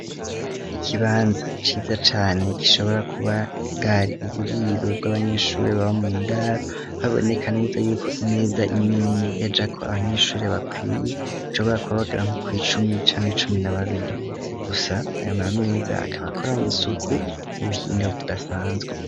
Ikibanza ciza cane gishobora kuba bwari uburiro bw'abanyeshure baba mu ndaro, haboneka neza yuko imeza imwe imwe yajako abanyeshure bakwiye, bashobora kuba bagera nko kw'icumi canke cumi na babiri. Gusa ayo ma meza akaba akoranye isuku n'ubuhinga budasanzwe.